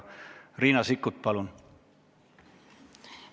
Riina Sikkut, palun!